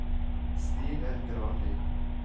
Stine Granli